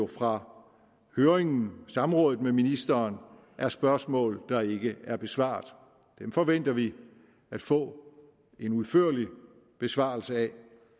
fra samrådet med ministeren er spørgsmål der ikke er blevet besvaret dem forventer vi at få en udførlig besvarelse af